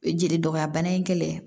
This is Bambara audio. Jeli dɔgɔya bana in kɛlɛ